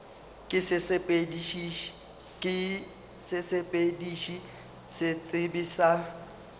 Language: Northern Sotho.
ke sesepediši se sebe sa